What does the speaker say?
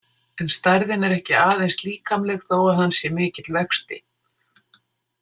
En stærðin er ekki aðeins líkamleg þó að hann sé mikill vexti.